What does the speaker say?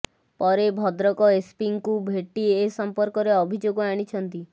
ପରେ ଭଦ୍ରକ ଏସପିଙ୍କୁ ଭେଟି ଏ ସମ୍ପର୍କରେ ଅଭିଯୋଗ ଆଣିଛନ୍ତି